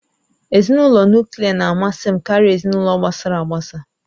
Ezinụlọ Nuklià na-amasị m karịa ezinụlọ gbasara agbasa